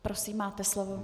Prosím, máte slovo.